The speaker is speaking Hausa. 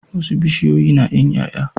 Wasu bishiyoyi nayin yaya